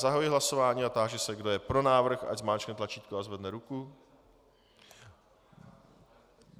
Zahajuji hlasování a táži se, kdo je pro návrh, ať zmáčkne tlačítko a zvedne ruku.